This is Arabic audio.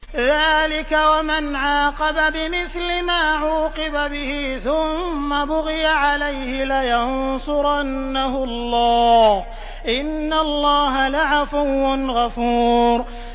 ۞ ذَٰلِكَ وَمَنْ عَاقَبَ بِمِثْلِ مَا عُوقِبَ بِهِ ثُمَّ بُغِيَ عَلَيْهِ لَيَنصُرَنَّهُ اللَّهُ ۗ إِنَّ اللَّهَ لَعَفُوٌّ غَفُورٌ